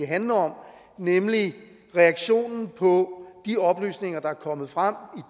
handler om nemlig reaktionen på de oplysninger der er kommet frem